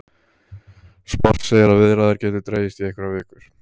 Sport segir að viðræður gætu dregist í einhverjar vikur